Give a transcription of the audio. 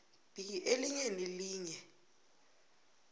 b elinye nelinye